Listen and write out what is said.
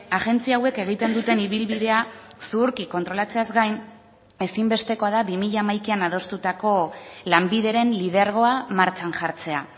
agentzia hauek egiten duten ibilbidea zuhurki kontrolatzeaz gain ezinbestekoa da bi mila hamaikan adostutako lanbideren lidergoa martxan jartzea